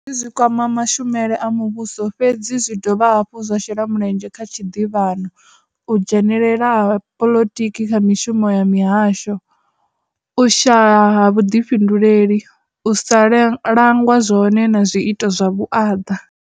Hezwi zwi kwama ma shumele a muvhuso, fhedzi zwi dovha hafhu zwa shela mulenzhe kha tshi ḓivhano, u dzhenelela ha poḽotiki kha mishumo ya mihasho, u shaya ha vhuḓifhinduleli, u sa langwa zwone na zwiito zwa vhuaḓa.